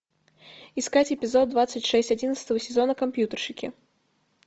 искать эпизод двадцать шесть одиннадцатого сезона компьютерщики